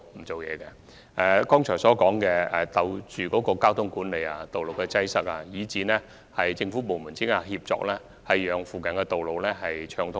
正如我剛才提及，我們會繼續跟進交通管理、道路擠塞，以及政府部門之間的協作，務求保持附近道路暢通。